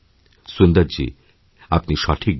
সুন্দরজী আপনি সঠিক বলেছেন